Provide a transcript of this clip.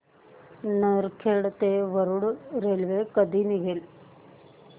नरखेड ते वरुड रेल्वे कधी निघेल